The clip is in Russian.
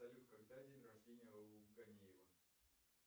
салют когда день рождение у гонеева